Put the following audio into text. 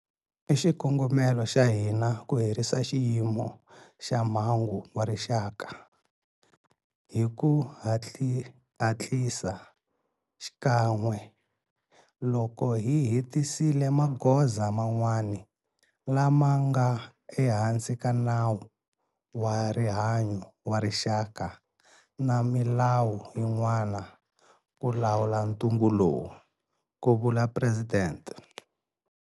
I xikongomelo xa hina ku herisa Xiyimo xa Mhangu xa Rixaka hi ku hatlisa xikan'we loko hi hetisisile magoza man'wana lama nga ehansi ka Nawu wa Rihanyo wa Rixaka na milawu yin'wana ku lawula ntungu lowu, ku vula Presidente.